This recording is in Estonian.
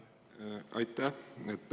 Aitäh!